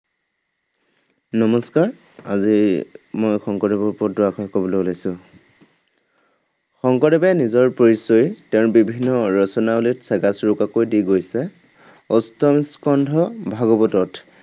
নমস্কাৰ, আজি মই শংকৰদেৱৰ ওপৰত দুআষাৰ কবলৈ ওলাইছো। শংকৰদেৱে নিজৰ পৰিচয় তেওঁৰ বিভিন্ন ৰচনাৱলীত চেগা চুৰুকাকৈ দি গৈছে। অষ্টম স্কন্ধ ভাগৱতত